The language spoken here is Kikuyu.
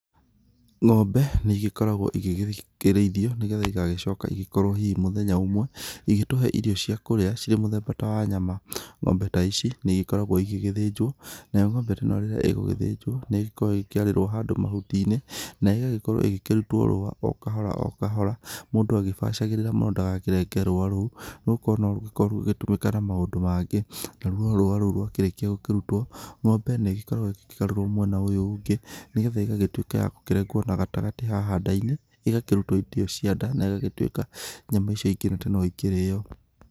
Ng'ombe nĩigĩkoragwo igĩkĩrĩithio, nĩgetha igagĩcoka igĩkorwo hihi mũthenya ũmwe igĩgĩtũhe irio cia kũrĩa cirĩ mũthemba ta wa nyama. Ng'ombe ta ici nĩigĩkoragwo igĩthĩnjwo nayo ng'ombe ta ĩno rĩrĩa ĩgũthĩnjwo nĩkoragwo ĩkĩarĩrwo mahuti-inĩ, na ĩgagĩkorwo ĩkĩrutwo rũa o kahora o kahora, mũndũ agĩbacagĩrĩra mũno ndagakĩrenge rũa rũu. Nĩgũkorwo norũkorwo rũgĩtũmĩka na maũndũ mangĩ. Naruo rũa rũu rwarĩkia gũkĩrutwo, ng'ombe nĩgĩkoragwo ĩkĩgarũrwo mwena ũyũ ũngĩ, nĩgetha ĩgagĩtuĩka ya kũrengwo na gatagatĩ haha nda-inĩ, ĩgakĩrutwo indo cia nda na ĩgatuĩka atĩ nyama icio cia nda no ikĩrĩyo.